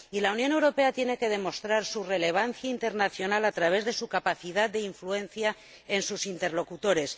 Y la Unión Europea tiene que demostrar su relevancia internacional a través de su capacidad de influencia en sus interlocutores.